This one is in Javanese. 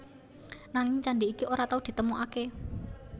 Nanging candhi iki ora tau ditemokaké